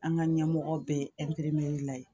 An ka ɲɛmɔgɔ bɛɛ ye